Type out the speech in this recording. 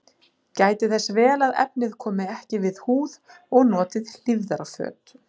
Gætið þess vel að efnið komi ekki við húð og notið hlífðarföt.